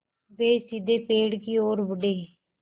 वे सीधे पेड़ की ओर बढ़े